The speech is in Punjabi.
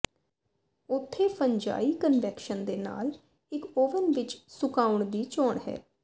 ਉੱਥੇ ਫੰਜਾਈ ਕਨਵੈਕਸ਼ਨ ਦੇ ਨਾਲ ਇੱਕ ਓਵਨ ਵਿਚ ਸੁਕਾਉਣ ਦੀ ਚੋਣ ਹੈ